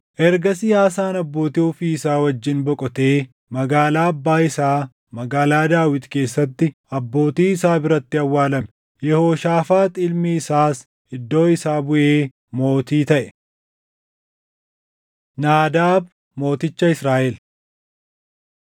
Ergasii Aasaan abbootii ofii wajjin boqotee magaalaa abbaa isaa magaalaa Daawit keessatti abbootii isaa biratti awwaalame. Yehooshaafaax ilmi isaas iddoo isaa buʼee mootii taʼe. Naadaab Mooticha Israaʼel